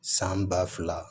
San ba fila